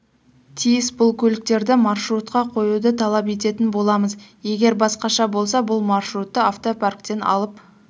тиіс бұл көліктерді маршрутқа қоюды талап ететін боламыз егер басқаша болса бұл маршрутты автопарктен алып